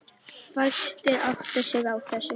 Fæstir átta sig á þessu.